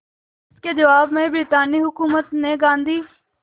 इसके जवाब में ब्रितानी हुकूमत ने गांधी